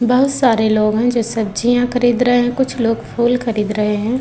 बहोत सारे लोग हैं जो सब्जियाँ खरीद रहे हैं। कुछ लोग फूल खरीद रहे हैं।